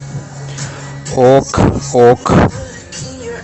ок ок